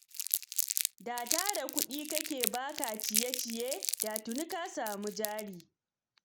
Da tara kuɗi kake yi ba ka ciye ciye, da tuni ka samu jari.